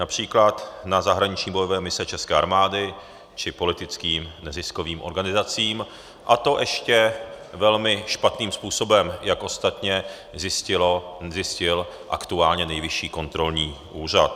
Například na zahraniční bojové mise české armády či politickým neziskovým organizacím, a to ještě velmi špatným způsobem, jak ostatně zjistil aktuálně Nejvyšší kontrolní úřad.